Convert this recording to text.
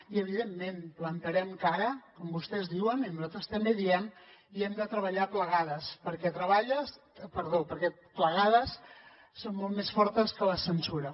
i evidentment plantarem cara com vostès diuen i nosaltres també diem i hem de treballar plegades perquè plegades som molt més fortes que la censura